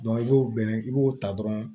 i b'o bɛn i b'o ta dɔrɔn